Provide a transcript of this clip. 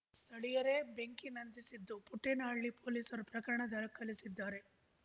ಸ್ಥಳೀಯರೆ ಬೆಂಕಿ ನಂದಿಸಿದ್ದು ಪುಟ್ಟೇನ ಹಳ್ಳಿ ಪೊಲೀಸರು ಪ್ರಕರಣ ದಾಖಲಿಸಿದ್ದಾರೆ